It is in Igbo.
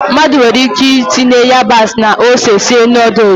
Mmadụ nwere ike itinye ịyabasị na ose sie nọdụs.